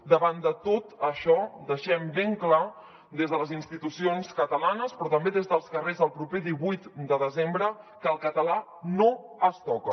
davant de tot això deixem ben clar des de les institucions catalanes però també des dels carrers el proper divuit de desembre que el català no es toca